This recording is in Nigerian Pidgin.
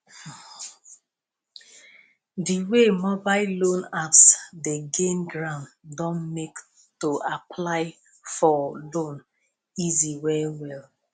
di wey mobile loan apps dey gain ground don make to apply for loan easy well well